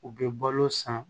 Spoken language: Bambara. U bɛ balo san